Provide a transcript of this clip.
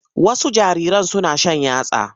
Wasu jariran suna shan yatsa.